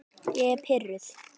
Ég er pirruð.